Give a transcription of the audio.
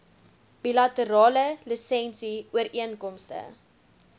bilaterale lisensie ooreenkomste